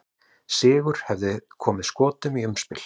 Sigur hefði komið Skotum í umspil.